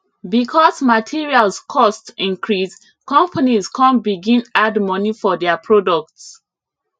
because materials cost increase companies come begin add money for dia products